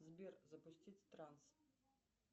сбер запустить транс